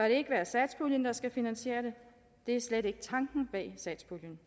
ikke være satspuljen der skal finansiere det det er slet ikke tanken bag satspuljen